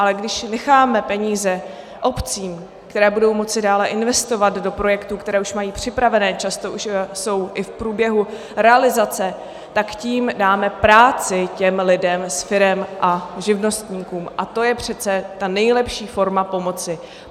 Ale když necháme peníze obcím, které budou moci dále investovat do projektů, které už mají připravené, často už jsou i v průběhu realizace, tak tím dáme práci těm lidem z firem a živnostníkům a to je přece ta nejlepší forma pomoci.